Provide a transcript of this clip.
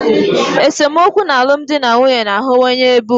Esemokwu n'alụmdi na nwunye na-aghọwanye ebe ugbu a.